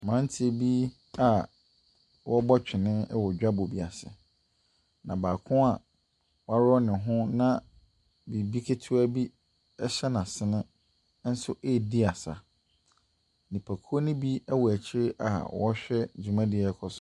Mmeranteɛ bi a wɔrebɔ twene wɔ dwabɔ bi ase. Na baako a waworɔ ne ho na biribi ketewa bi sz n'asene nso redi asa. Nipakuo no bi wɔ akyire a wɔrehwɛ dwumadie a ɛrekɔ so.